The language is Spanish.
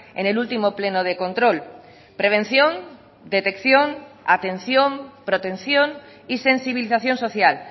en el último pleno de control prevención detección atención protección y sensibilización social